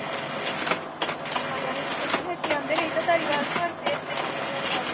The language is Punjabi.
ਆਜਾਂਗੇ ਕਿਸੇ ਦਿਨ। ਇਥੇ ਆਂਦੇ ਰਹੀ ਦਾ ਧਾਰੀਵਾਲ ਪਰ